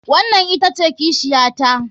Wannan ita ce kishiyata.